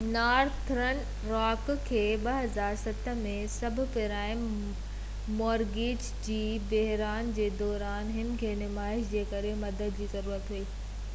Northern Rock کي 2007 ۾ subprime mortgage جي بحران جي دوران هن کي نمائش جي ڪري مدد جي ضرورت هئي